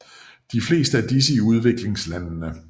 De fleste af disse i udviklingslandene